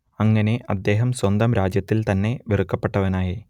അങ്ങനെ അദ്ദേഹം സ്വന്തം രാജ്യത്തിൽ തന്നെ വെറുക്കപ്പെട്ടവനായി